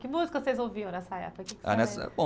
Que música vocês ouviam nessa época?